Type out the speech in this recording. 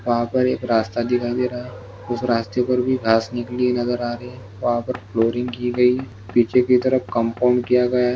वहां पर एक रास्ता दिखाई दे रहा है उस रास्ते पर भी घास निकली हुई नजर आ रही है वहां पर फ्लोरिनग की गयी है पीछे की तरफ कमफाऊँ किया गया है।